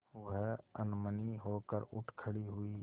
वह अनमनी होकर उठ खड़ी हुई